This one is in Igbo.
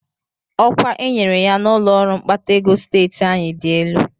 Ọkwa e nyere ya n'ụlọọrụ mkpata ego steeti anyị dị elu